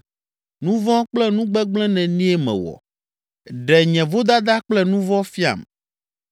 Nu vɔ̃ kple nu gbegblẽ nenie mewɔ? Ɖe nye vodada kple nu vɔ̃ fiam.